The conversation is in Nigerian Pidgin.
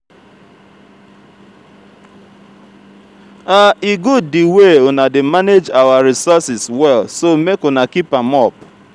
e good the way una dey manage our resources well so make una keep am up